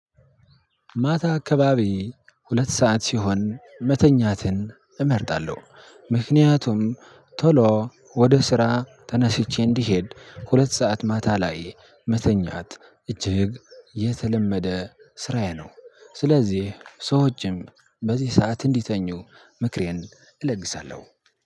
ማታ አካባቢ ሁለት ሰዓት ሲሆን መተኛትን እመርጣለሁ ምክንያቱም ቶሎ ወደ ስራ ተነስቼ እንድሄድ ሁለት ሰዓት ማታ ላይ መተኛት እጅግ የተለመደ ስራዬ ነው። ስለዚህ ሰዎችም በዚህ ሰዓት እንዲተኙ ምክሬን እለግሳለሁ።